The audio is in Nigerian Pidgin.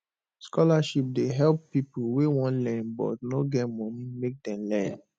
scholarship dey help pipo wey wan learn but no get money make dem learn